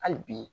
Hali bi